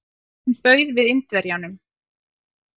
Honum bauð við Indverjanum.